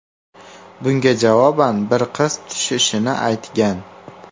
Bunga javoban bir qiz tushishini aytgan.